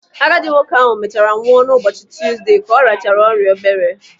Agadi nwoke ahụ mechaara nwụọ n'ụbọchị Tuuzde ka ọ rịachara ọrịa obere.